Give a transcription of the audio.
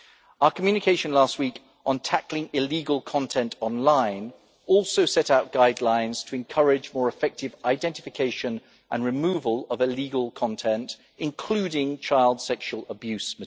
Our communication last week on tackling illegal content online also set out guidelines to encourage more effective identification and removal of illegal content, including material in relation to child sexual abuse.